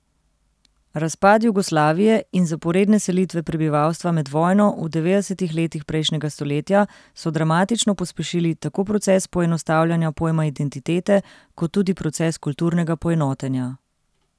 Razpad Jugoslavije in zaporedne selitve prebivalstva med vojno v devetdesetih letih prejšnjega stoletja so dramatično pospešili tako proces poenostavljanja pojma identitete kot tudi proces kulturnega poenotenja.